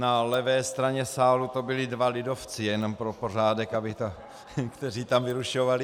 Na levé straně sálu to byli dva lidovci, jenom pro pořádek, kteří tam vyrušovali.